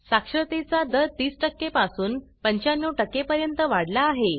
साक्षरतेचा दर 30 पासून 95 पर्यंत वाढला आहे